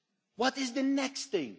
What is the next thing?